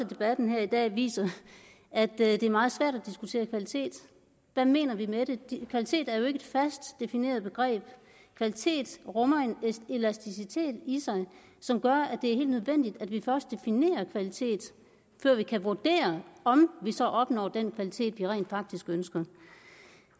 debatten her i dag viser at det er meget svært at diskutere kvalitet hvad mener vi med det kvalitet er jo ikke et fast defineret begreb kvalitet rummer en elasticitet i sig som gør at det er helt nødvendigt at vi først definerer kvalitet før vi kan vurdere om vi så opnår den kvalitet vi rent faktisk ønsker